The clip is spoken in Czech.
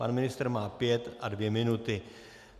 Pan ministr má pět a dvě minuty.